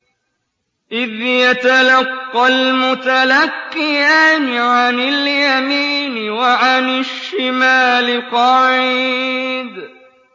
إِذْ يَتَلَقَّى الْمُتَلَقِّيَانِ عَنِ الْيَمِينِ وَعَنِ الشِّمَالِ قَعِيدٌ